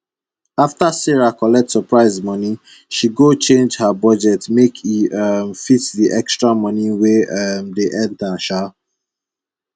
after sarah collet surprise moni she go change her budget make e um fit the extra money wey um dey enta um